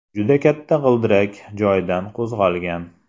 Juda katta g‘ildirak joyidan qo‘zg‘algan.